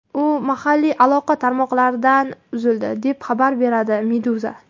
U mahalliy aloqa tarmoqlaridan uzildi, deb xabar beradi Meduza.